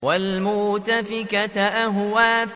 وَالْمُؤْتَفِكَةَ أَهْوَىٰ